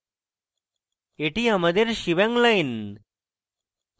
এটি আমাদের shebang line